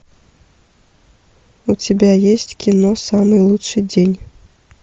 у тебя есть кино самый лучший день